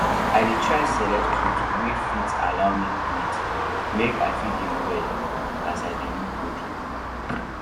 i dey try select clothes wey fit allow me breathe make i fit dey well as i dey look good